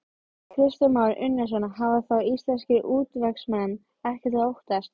Kristján Már Unnarsson: Hafa þá íslenskir útvegsmenn ekkert að óttast?